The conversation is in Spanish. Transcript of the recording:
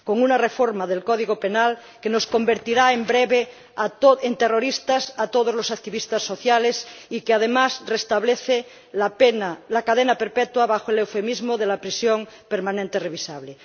Y una reforma del Código Penal que nos convertirá en breve en terroristas a todos los activistas sociales y que, además, restablece la cadena perpetua bajo el eufemismo de la prisión permanente revisable.